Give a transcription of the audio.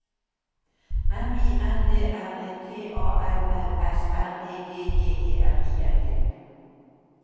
M I N D R E T A L L S R E G J E R I N G